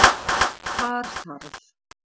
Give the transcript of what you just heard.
Þar þarf